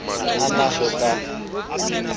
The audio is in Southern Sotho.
ha a na ho ka